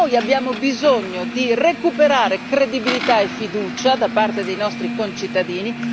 Noi abbiamo bisogno di recuperare credibilità e fiducia da parte dei nostri concittadini.